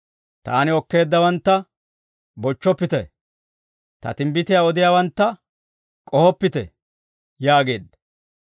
«Taani okkeeddawantta bochchoppite; ta timbbitiyaa odiyaawantta k'ohoppite» yaageedda.